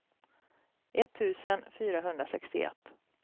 etttusen fyrahundrasextioett